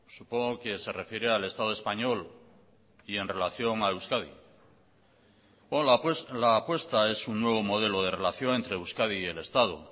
supongo que se refiere al estado español y en relación a euskadi la apuesta es un nuevo modelo de relación entre euskadi y el estado